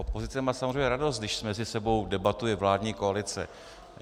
Opozice má samozřejmě radost, když mezi sebou debatuje vládní koalice.